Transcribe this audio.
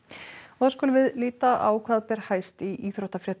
þá skulum við líta á hvað ber hæst í íþróttafréttum